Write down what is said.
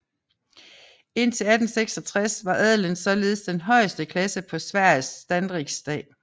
Indtil 1866 var adelen således den højeste klasse på Sveriges standsriksdag